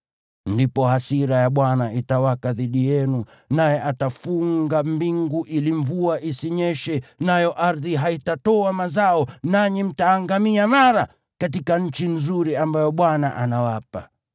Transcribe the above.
Ndipo hasira ya Bwana itawaka dhidi yenu, naye atafunga mbingu ili mvua isinyeshe nayo ardhi haitatoa mazao, nanyi mtaangamia mara katika nchi nzuri ambayo Bwana anawapa.